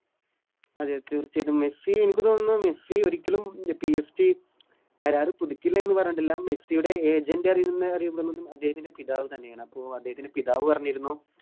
അതെ തീർച്ചയായിട്ടും മെസ്സി എനിക്ക് തോന്നുന്നു മെസ്സി ഒരിക്കലും PSG കരാറ് പിടിക്കില്ലാന്ന് പറഞ്ഞിട്ടില്ല മെസ്സിടെ Agent അറിയുന്ന അദ്ദേഹത്തിൻറെ പിതാവ് തന്നെയാണ് അപ്പൊ അദ്ദേഹത്തിൻറെ പിതാവ് പറഞ്ഞിരുന്നു